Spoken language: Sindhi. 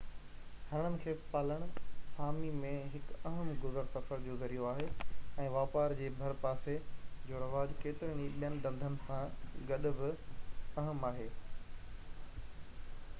هرڻن کي پالڻ سامي ۾ هڪ اهم گذر سفر جو ذريعو آهي ۽ واپار جي ڀرپاسي جو رواج ڪيترن ئي ٻين ڌنڌن سان گڏ بہ اهم آهي